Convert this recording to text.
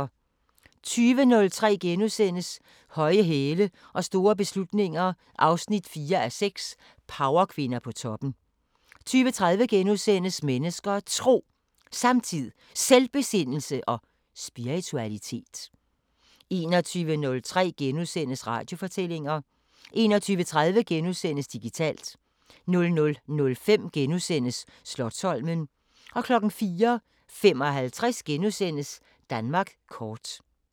20:03: Høje hæle og store beslutninger 4:6 – Powerkvinder på toppen * 20:30: Mennesker og Tro: Samtid, Selvbesindelse og spiritualitet * 21:03: Radiofortællinger * 21:30: Digitalt * 00:05: Slotsholmen * 04:55: Danmark kort *